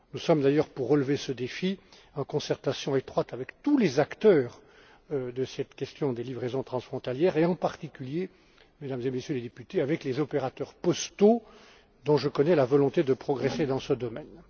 Nous sommes d'ailleurs, pour relever ce défi, en concertation étroite avec tous les acteurs de cette question des livraisons transfrontalières et, en particulier, Mesdames et Messieurs les députés, avec les opérateurs postaux, dont je connais la volonté de progresser dans ce domaine.